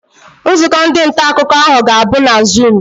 Nzukọ ndị nta akụkọ ahụ ga-abụ na zuum.